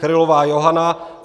Krylová Johana